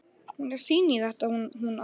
Hún er fín í þetta hún amma.